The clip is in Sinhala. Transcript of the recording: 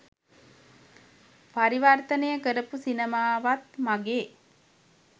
පරිවර්තනය කරපු සිනමාවත් මගේ